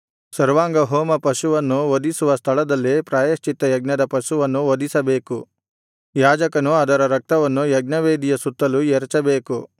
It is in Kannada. ಸರ್ವಾಂಗಹೋಮಪಶುವನ್ನು ವಧಿಸುವ ಸ್ಥಳದಲ್ಲೇ ಪ್ರಾಯಶ್ಚಿತ್ತಯಜ್ಞದ ಪಶುವನ್ನು ವಧಿಸಬೇಕು ಯಾಜಕನು ಅದರ ರಕ್ತವನ್ನು ಯಜ್ಞವೇದಿಯ ಸುತ್ತಲೂ ಎರಚಬೇಕು